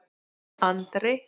Andri